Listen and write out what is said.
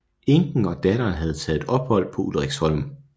Enken og datteren havde taget ophold på Ulriksholm